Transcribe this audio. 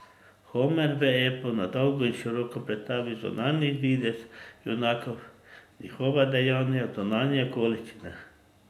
Homer v epu na dolgo in široko predstavi zunanji videz junakov, njihova dejanja, zunanje okoliščine ...